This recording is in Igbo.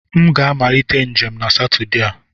M ga-amalite njem na Satọde a.